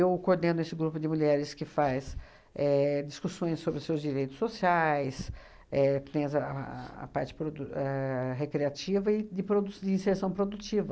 coordeno esse grupo de mulheres que faz éh discussões sobre seus direitos sociais, éh que tem essa a a a parte produ éh recreativa e de produç de inserção produtiva.